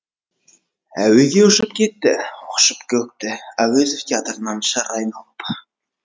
әуеге ұшып кетті құшып көкті әуезов театрынан шыр айналып